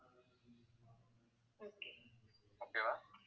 okay வா